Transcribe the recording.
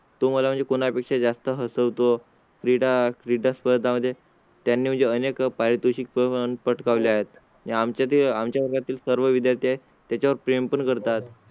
तो बोल तुम्हाला म्हणजे कोणा पेक्षा जास्त हसवतो. क्रीडा क्रीडा स्पर्धा मध्ये त्यांनी अनेक पारितोषिके पटकावली आहेत. आमच्याकडे आमच्या वर्गातील सर्व विद्यार्थी आहे त्याच्या वर प्रेम पण करतात.